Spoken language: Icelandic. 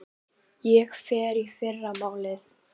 Ég fer í fyrramálið.